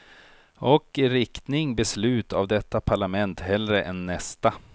Och i riktning beslut av detta parlament hellre än nästa.